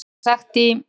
Frá því er sagt í